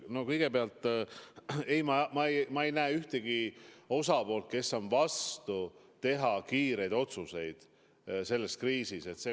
No kõigepealt, ma ei näe ühtegi osapoolt, kes on vastu sellele, et kriisis tuleb teha kiireid otsuseid.